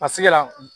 A sɛgɛn la